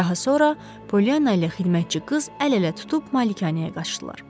Daha sonra Polyanna ilə xidmətçi qız əl-ələ tutub malikanəyə qaçdılar.